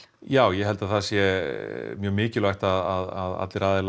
já ég held að það sé mikilvægt að allir aðilar